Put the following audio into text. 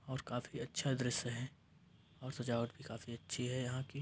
और काफी अच्छा दृश्य है और सजावट भी काफी अच्छी है यहां की --